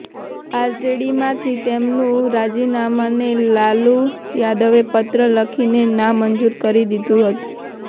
આરજેડીમાંથી તેમનું રાજીનામાને લાલુ યાદવે પત્ર લખીને નામંજૂર કરી દીધું હતું